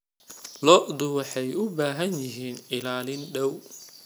Lo'du waxay u baahan yihiin ilaalin dhow.